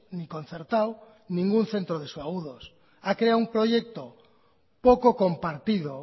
ni concertado ningún centro de subagudos ha creado un proyecto poco compartido